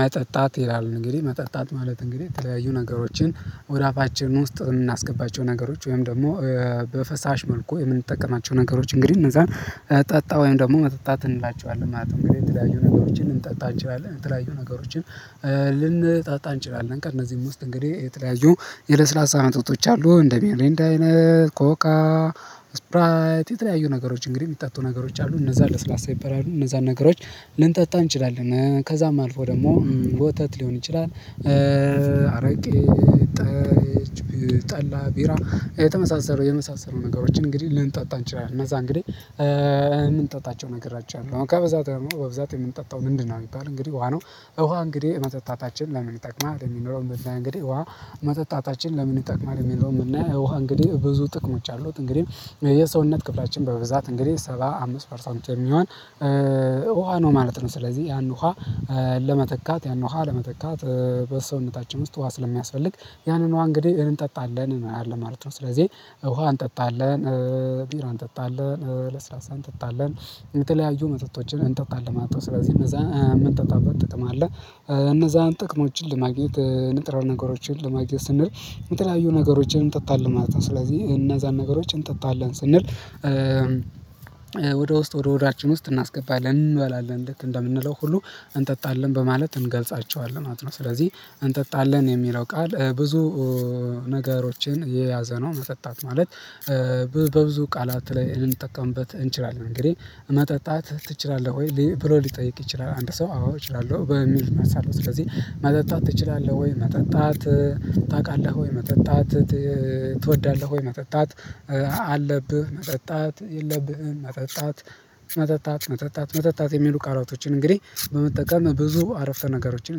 መጠጣት ይላል እንግዲህ መጠጣት ማለት እንግዲህ የተለያዩ ነገሮችን ወደ አፋችን ውስጥ የምናስገባቸው ነገሮች ወይም ደግሞ በፈሳሽ መልኩ የምንጠቀማቸው ነገሮች እንግዲህ እነዛን ጠጣ ወይም ደግሞ መጠጣት እንላቸዋለን ማለት ነው እንግዲህ የተለያዩ ነገሮችን ልንጠጣ እንችላለን የተለያዩ ነገሮችን ልንጠጣ እንችላለን ከእነዚህም ውስጥ እንግዲህ የተለያዩ የለስላሳ መጠጦች አሉ እንደ ሚሪንዳ አይነት ኮካ ስፕራይት የተለያዩ ነገሮች እንግዲህ የሚጠጡ ነገሮች አሉ እነዛን ለስላሳ ይበላሉ እነዛን ነገሮች ልንጠጣ እንችላለን ከዛም አልፎ ደግሞ ወተት ሊሆን ይችላል አረቂ ጠጅ ጠላ ቢራ የተመሳሰሉ የመሳሰሉ ነገሮችን እንግዲህ ልንጣጣ እንችላለን እነዛ እንግዲህ ነገሮች አሉ ከበዛ በብዛት የምንጠጣው ምንድነው ቢባል እንግዲህ ውሃ ነው ወሃ እንግዲህ መጠጣታችን ለምን ይጠቅማል የሚል ነው የምናይ እንግዲህ ውሃ መጠጣታችን ለምን ይጠቅማል የሚል ነው የምናይ ውሃ እንግዲህ ብዙ ጥቅሞች አሉት እንግዲህ የሰውነት ክፍላችን በብዛት እንግዲህ ሰባ አምስት ፐርሰንት የሚሆን ውሃ ነው ማለት ነው ስለዚህ ያን ውሃ ለመተካት ያን ውሃ ለመተካት በሰውነታችን ውስጥ ውሃ ስለሚያስፈልግ ያንን ውሃ እንግዲህ እንጠጣለን ማለት ነው ስለዚህ ውሃ እንጠጣለን ቢራ እንጠጣለን ለስላሳ እንጠጣለን የተለያዩ መጠጦችን እንጠጣለን ስለዚህ እነዛ የምንጠጣበት ጥቅም አለ እነዛን ጥቅሞችን ለማግኘት ንጥረ ነገሮችን ለማግኘት ስንል የተለያዩ ነገሮችን እንጠጣለን ማለት ነው ስለዚህ እነዛን ነገሮች እንጠጣለን ስንል ውስጥ ወደ ወደ ሆዳችን ውስጥ እናስገባለን እንበላለን እንዴት እንደምንለው ሁሉ እንጠጣለን በማለት እንገልጻቸዋለን ማለት ነው ስለዚህ እንጠጣለን የሚለው ቃል ብዙ ነገሮችን የያዘ ነው መጠጣት ማለት በብዙ ቃላት ላይ ልንጠቀምበት እንችላለን እንግዲህ መጠጣት ትችላለህ ወይ? ሊል ብሎ ሊጠይቅ ይችላል አንድ ሰው አዎ እችላለሁ በሚል መልስ አለው ስለዚህ መጠጣት ትችላለህ ወይ? መጠጣት ታቃለህ ወይ? መጠጣት ትወዳለህ ወይ? መጠጣት አለብህ መጠጣት የለብህም መጠጣት መጠጣት መጠጣት መጠጣት የሚሉ ቃላቶችን እንግዲህ በመጠቀም ብዙ አረፍተ ነገሮችን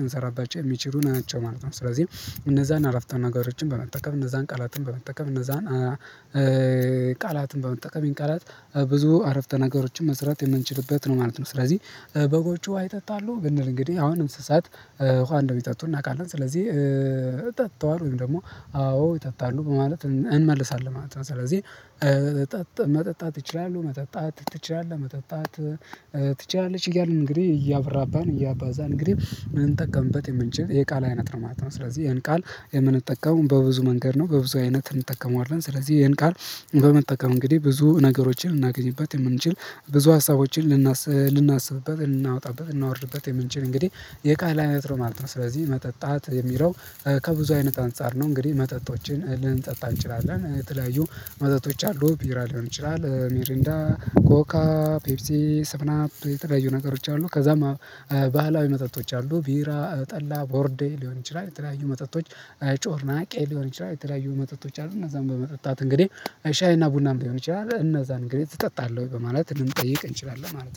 ልንሰራባቸው የሚችሉ ናቸው ማለት ነው ስለዚህ እነዛን አረፍተ ነገሮችን በመጠቀም እነዛን ቃላትን በመጠቀም እነዛን ቃላትን በመጠቀም ይህን ቃላት ብዙ አረፍተ ነገሮችን መስራት የምንችልበት ነው ማለት ነው ስለዚህ በጎቹ ውሃ ይጠጣሉ? ብንል እንግዲህ አሁን እንስሳት ውሃ እንደሚጠጡ እናቃለን ስለዚህ ጠጥተዋል ወይም ደግሞ አዎ ይጠጣሉ በማለት ልን እንመልሳለን ማለት ነው ስለዚህ መጠጣት ይችላሉ መጠጣት ትችላለህ መጠጣት ትችላለች እያልን እንግዲህ እያብራባን እያባዛን እንግዲህ ልንጠቀምበት የምንችል የቃል አይነት ነው ማለት ነው ስለዚህ ይህን ቃል የምንጠቀመው በብዙ መንገድ ነው በብዙ አይነት እንጠቀመዋለን ስለዚህ ይሄን ቃል በመጠቀም እንግዲህ ብዙ ነገሮችን እናገኝበት የምንችል ብዙ ሀሳቦችን ልናስ ልናስብበት ልናወጣበት እናወርድበት የምንችል እንግዲህ የቃል አይነት ነው ማለት ነው ስለዚህ መጠጣት የሚለው ከብዙ አይነት አንፃር ነው እንግዲህ መጠጦችን ልንጠጣ እንችላለን የተለያዩ መጠጦች አሉ ቢራ ሊሆን ይችላል ሚሪንዳ ኮካ ፔፕሲ ሰቭን አፕ የተለያዩ ነገሮች አሉ ከዛም ባህላዊ መጠጦች አሉ ቢራ ጠላ ቦርዴ ሊሆን ይችላል የተለያዩ መጠጦች ጮርናቄ ሊሆን ይችላል የተለያዩ መጠጦች አሉ እነዛን በመጠጣት እንግዲህ ሻይ እና ቡናም ሊሆን ይችላል እነዛን እንግዲህ ትጠጣለህ ወይ? በማለት ልንጠይቅ እንችላለን ማለት ነው